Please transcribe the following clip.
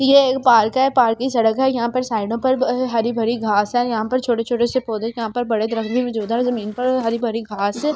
ये एक पार्क है पार्क की सड़क है यहां पर साइडों पर हरी भरी घास है यहां पर छोटे-छोटे से पौधे यहां पर बड़े दरख भी मौजूदा है जमीन पर हरी भरी घास --